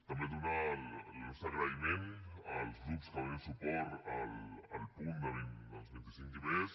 també donar el nostre agraïment als grups que donen suport al punt dels vint set i més